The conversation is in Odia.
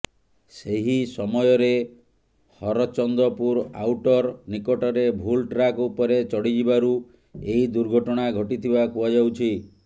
ସେହି ସମୟରେ ହରଚନ୍ଦପୁର ଆଉଟର ନିକଟରେ ଭୁଲ ଟ୍ରାକ ଉପରେ ଚଡ଼ିଯିବାରୁ ଏହି ଦୁର୍ଘଟଣା ଘଟିଥିବା କୁହାଯାଉଛି